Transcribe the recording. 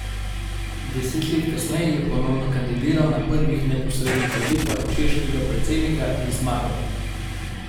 Deset let kasneje je ponovno kandidiral na prvih neposrednih volitvah češkega predsednika in zmagal.